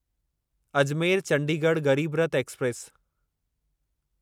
Ajmer Chandigarh Garib Rath express